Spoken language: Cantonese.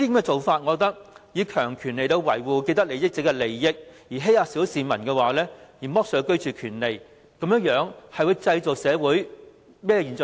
政府以強權維護既得利益者的利益，欺壓小市民，剝削他們的居住權利，會製造出甚麼社會現象？